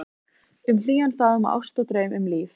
Um hlýjan faðm og ást og draum, um líf